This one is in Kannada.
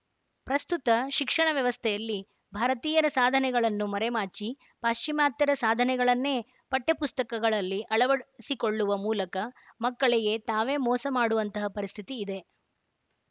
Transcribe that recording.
ಪ್ರಸ್ತುತ ಶಿಕ್ಷಣ ವ್ಯವಸ್ಥೆಯಲ್ಲಿ ಭಾರತೀಯರ ಸಾಧನೆಗಳನ್ನು ಮರೆಮಾಚಿ ಪಾಶ್ಚಿಮಾತ್ಯರ ಸಾಧನೆಗಳನ್ನೇ ಪಠ್ಯಪುಸ್ತಕಗಳಲ್ಲಿ ಅಳವಡಿಸಿಕೊಳ್ಳುವ ಮೂಲಕ ಮಕ್ಕಳಿಗೆ ತಾವೇ ಮೋಸ ಮಾಡುವಂತಹ ಪರಿಸ್ಥಿತಿ ಇದೆ